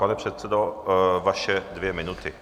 Pane předsedo, vaše dvě minuty.